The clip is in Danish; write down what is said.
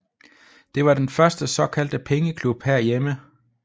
Det var den første såkaldte pengeklub herhjemme